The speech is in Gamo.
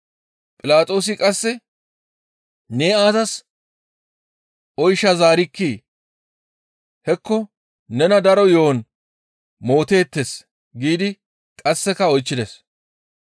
Philaxoosi qasse, «Ne aazas oyshaa zaarikkii? Hekko nena daro yo7on mooteettes» giidi qasseka oychchides.